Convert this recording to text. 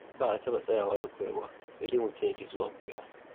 Ba a taɓa tsayawa da koyarwa sai dai mutum ya ƙi zuwa ya koya.